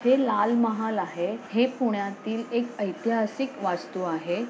हे लाल महाल आहे. हे पुण्यातील एक एतिहासिक वास्तु आहे.